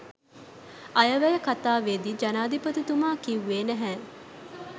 අයවැය කතාවේදී ජනාධිපතිතුමා කිව්වේ නැහැ.